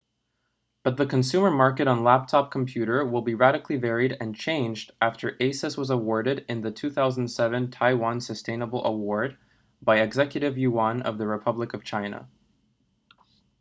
but the consumer market on laptop computer will be radically varied and changed after asus was awarded in the 2007 taiwan sustainable award by executive yuan of the republic of china